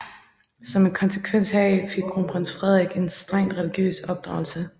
Som en konsekvens heraf fik Kronprins Frederik en strengt religiøs opdragelse